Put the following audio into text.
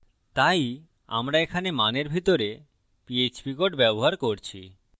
তাই আমরা এখানে মানের ভিতরে পীএচপী code ব্যবহার করছি